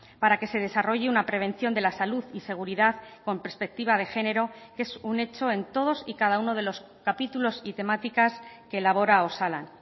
para que se desarrolle una prevención de la salud y seguridad con perspectiva de género que es un hecho en todos y cada uno de los capítulos y temáticas que elabora osalan